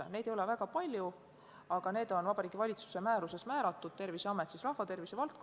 Neid asutusi ei ole väga palju ja need on Vabariigi Valitsuse määruses määratud, rahvatervise valdkonnas on selleks Terviseamet.